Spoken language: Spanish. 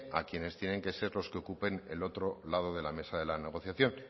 a quienes tienen que ser los que ocupen el otro lado de la negociación